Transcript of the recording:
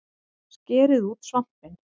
Skerið út svampinn